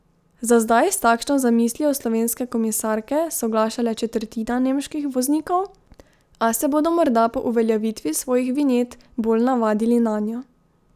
Za zdaj s takšno zamislijo slovenske komisarke soglaša le četrtina nemških voznikov, a se bodo morda po uveljavitvi svojih vinjet bolj navadili nanjo.